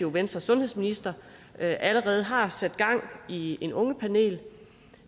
at venstres sundhedsminister allerede har sat gang i et ungepanel